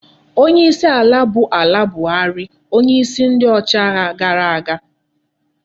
Onye isi ala bu ala buhari onye isi ndi ochi agha gara aga